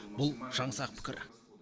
бұл жаңсақ пікір